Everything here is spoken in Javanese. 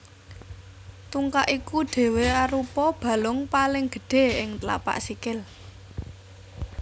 Tungkak iku dhéwé arupa balung paling gedhé ing tlapak sikil